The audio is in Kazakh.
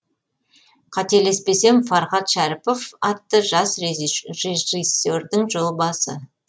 қателеспесем фархат шәріпов атты жас режиссердің жобасы